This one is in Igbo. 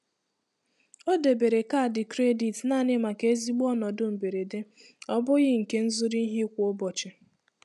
O debere kaadị kredit naanị maka ezigbo ọnọdụ mberede, ọ bụghị nke nzuru ihe kwa ụbọchị.